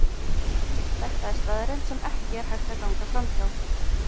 Þetta er staðreynd, sem ekki er hægt að ganga framhjá.